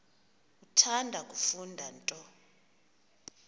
uthanda kufunda nto